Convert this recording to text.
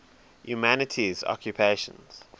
humanities occupations